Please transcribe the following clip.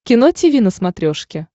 кино тиви на смотрешке